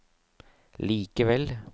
likevel